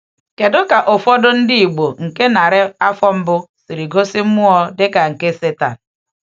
Kedu ka ụfọdụ ndị Igbo nke narị afọ mbụ siri gosi mmụọ dịka nke Setan?